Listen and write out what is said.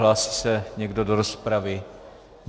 Hlásí se někdo do rozpravy?